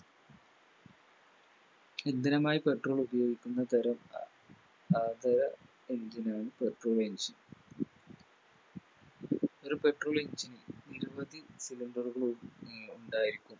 ഇന്ധനമായി Petrol ഉപയോഗിക്കുന്ന തരം അതെ Engine ആണ് Petrol engine ഒര് Petrol engine ന് നിരവധി Cylinder കൾ ഉം ഉണ്ടായിരിക്കും